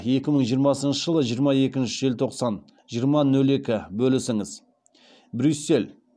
екі мың жиырмасыншы жылы жиырма екінші желтоқсан жиырма нөл екі бөлісіңіз брюссель